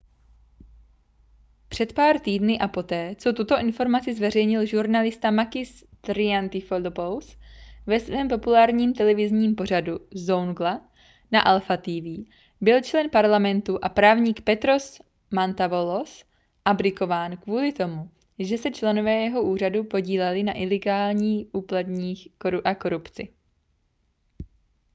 před pár týdny a poté co tuto informaci zveřejnil žurnalista makis triantafylopoulos ve svém populárním televizním pořadu zoungla na alpha tv byl člen parlamentu a právník petros mantouvalos abdikován kvůli tomu že se členové jeho úřadu podíleli na ilegálních úplatcích a korupci